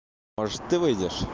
может ты выйдешь